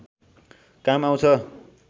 काम आउँछ